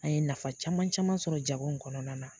An ye nafa caman caman sɔrɔ jago in kɔnɔna na.